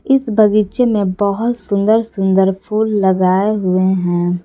इस बगीचे में बहोत सुन्दर सुंदर फूल लगाए हुए हैं।